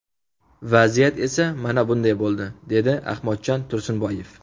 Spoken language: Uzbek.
Vaziyat esa mana bunday bo‘ldi”, dedi Ahmadjon Tursunboyev.